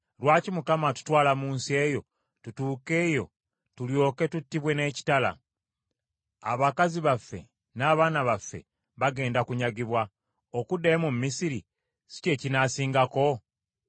Lwaki Mukama atutwala mu nsi eyo, tutuuke eyo tulyoke tuttibwe n’ekitala? Abakazi baffe n’abaana baffe bagenda kunyagibwa. Okuddayo mu Misiri si kye kinaasingako?”